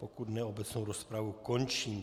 Pokud ne, obecnou rozpravu končím.